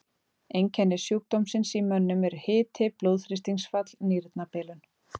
Einkenni sjúkdómsins í mönnum eru hiti, blóðþrýstingsfall, nýrnabilun.